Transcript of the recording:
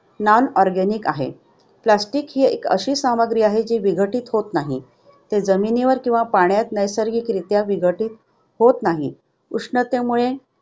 Non-organic आहे. Plastic ही एक अशी सामग्री आहे जी विघटित होत नाही. ते जमिनीवर किंवा पाण्यात नैसर्गिकरित्या विघटित होत नाही. उष्णतेमुळे